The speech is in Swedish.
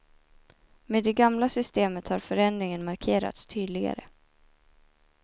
Med det gamla systemet har förändringen markerats tydligare.